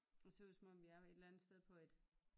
Og ser ud som om vi er et eller andet sted på et